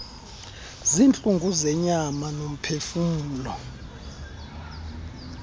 ziintlungu zenyama nomphefumlo